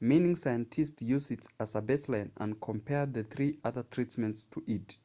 meaning scientists used it as a baseline and compared the three other treatments to it